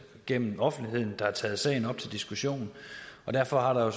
gennem offentligheden har taget sagen op til diskussion og derfor har der